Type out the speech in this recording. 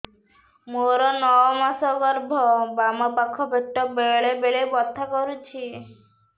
ମୋର ନଅ ମାସ ଗର୍ଭ ବାମ ପାଖ ପେଟ ବେଳେ ବେଳେ ବଥା କରୁଛି